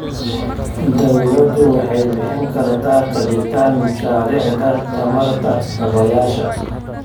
Dawladdu waxay bixin kartaa kabitaan mashaariicda tamarta dabaysha.